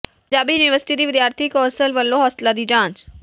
Punjab university ਦੀ ਵਿਦਿਆਰਥੀ ਕੌ ਾਸਲ ਵੱਲੋਂ ਹੋਸਟਲਾਂ ਦੀ ਜਾਂਚ